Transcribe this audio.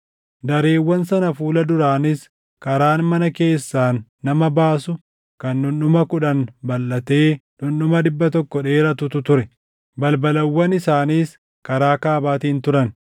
Dareewwan sana fuula duraanis karaan mana keessaan nama baasu kan dhundhuma kudhan balʼatee dhundhuma dhibba tokko dheeratutu ture. Balbalawwan isaaniis karaa kaabaatiin turan.